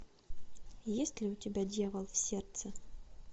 есть ли у тебя дьявол в сердце